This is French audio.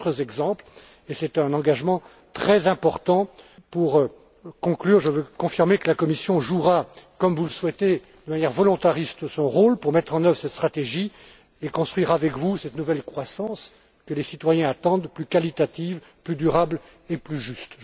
Il y a d'autres exemples et c'est un engagement très important. Pour conclure, je veux confirmer que la Commission jouera, comme vous le souhaitez, son rôle d'une manière volontariste, pour mettre en œuvre cette stratégie et construire avec vous cette nouvelle croissance, que les citoyens attendent, plus qualitative, plus durable et plus juste.